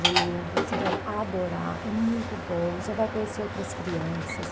Geninha, você vai adorar, é muito bom, você vai conhecer outras crianças.